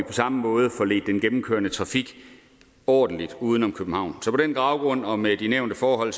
samme måde får ledt den gennemkørende trafik ordentligt uden om københavn så på den baggrund og med de nævnte forhold